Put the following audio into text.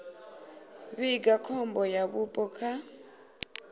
vhiga khombo ya vhupo kha